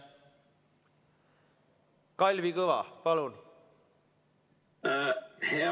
Kalvi Kõva, palun!